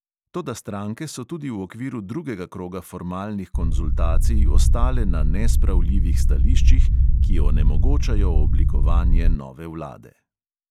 Toda stranke so tudi v okviru drugega kroga formalnih konzultacij ostale na nespravljivih stališčih, ki onemogočajo oblikovanje nove vlade.